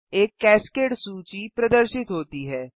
एक कैस्केड सूची प्रदर्शित होती है